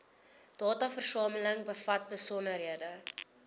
dataversameling bevat besonderhede